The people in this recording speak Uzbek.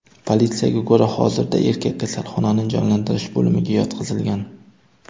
Politsiyaga ko‘ra, hozirda erkak kasalxonaning jonlantirish bo‘limiga yotqizilgan.